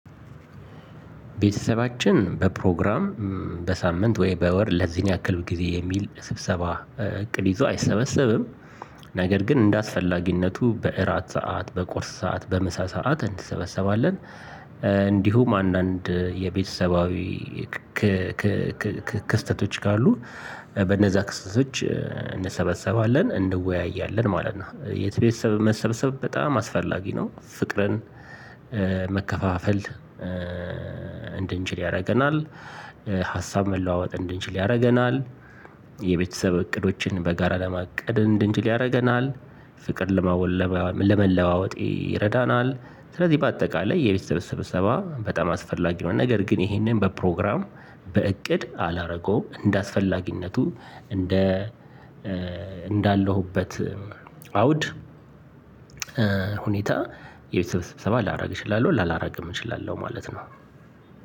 ቤተሰባችን በፕሮግራም በሳምንት ወይ በወር ለዚህን ያክል ጊዜ የሚል ስብሰባ እቅድ ይዞ አይሰበሰብም። ነገር ግን እንደ አስፈላጊነቱ በእራት ሰዓት በቁርስ ሰዓት በምሳ ሰዓት እንሰበሰባለን። እንዲሁም አንዳንድ የቤተሰባዊ ክስተቶች ካሉ በነዛ ክስተቶች እንሰበሰባለን እንወያያለን ማለት ነው የቤተሰብ መሰብሰብ በጣም አስፈላጊ ነው። ፍቅርን መከፋፈል እንድንችል ያደርገናል። ሀሳብ መለዋወጥ እንድንችል ያደርገናል። የቤተሰብ እቅዶችን በጋራ ለማቀድ ድንች ያደርገናል። ፍቅር ለመለዋወጥ ይረዳናል። ስለዚህ በአጠቃላይ የቤተሰብ ስብሰባ በጣም አስፈላጊ የሆነ ነገር ግን ይሄንን በፕሮግራም በእቅድ አላረገውም። እንደ አስፈላጊነቱ እንደ እንዳለሁበት አውድ ሁኔታ የቤተሰብ ስብሰባ ላደርግ እችላለሁ ላላደርግም እችላለሁ ማለት ነው።